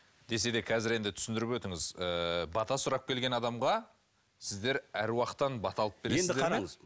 десе де қазір енді түсіндіріп өтіңіз ыыы бата сұрап келген адамға сіздер аруақтан бата алып енді қараңыз